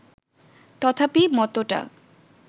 তথাপি মতটা